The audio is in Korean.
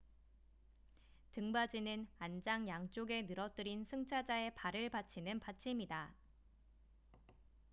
등받이는 안장 양쪽에 늘어뜨린 승차자의 발을 받치는 받침이다